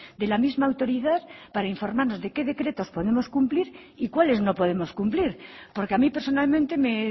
de la misma autoridad para informarnos de qué decretos podemos cumplir y cuáles no podemos cumplir porque a mí personalmente me